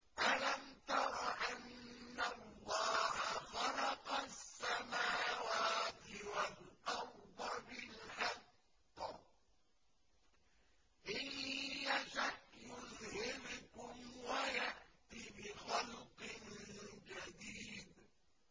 أَلَمْ تَرَ أَنَّ اللَّهَ خَلَقَ السَّمَاوَاتِ وَالْأَرْضَ بِالْحَقِّ ۚ إِن يَشَأْ يُذْهِبْكُمْ وَيَأْتِ بِخَلْقٍ جَدِيدٍ